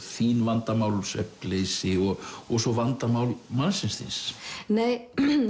þín vandamál svefnleysi og og svo vandamál mannsins þíns nei